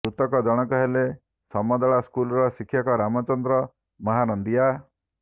ମୃତକ ଜଣକ ହେଲେ ସମଦଳା ସ୍କୁଲର ଶିକ୍ଷକ ରାମଚନ୍ଦ୍ର ମହାନନ୍ଦିଆ